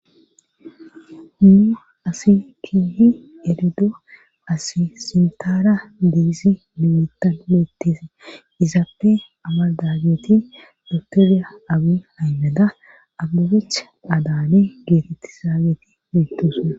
Humnu asi keehi elido asi sintaara diisi ninutan meetteese izaappe amaldageeti dotoriya abi haymeda abubecha adaane geetettisaageeti begtose.